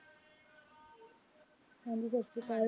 ਹਾਂ ਜੀ ਸਤਿ ਸ਼੍ਰੀ ਅਕਾਲ